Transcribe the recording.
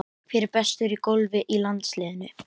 Hver er bestur í golfi í landsliðinu?